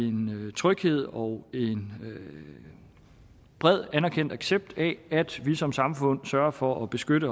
en tryghed og en bred anerkendt accept af at vi som samfund sørger for at beskytte